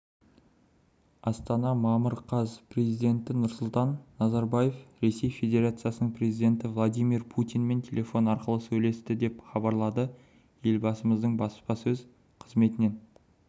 астана мамыр қаз президенті нұрсұлтан назарбаев ресей федерациясының президенті владимир путинмен телефон арқылы сөйлесті деп хабарлады елбасының баспасмөз қызметінен